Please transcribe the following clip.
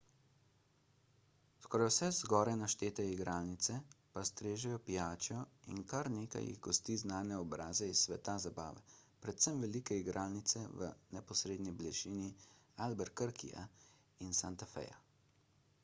skoraj vse zgoraj naštete igralnice pa strežejo pijačo in kar nekaj jih gosti znane obraze iz sveta zabave predvsem velike igralnice v neposredni bližini albuquerqueja in santa feja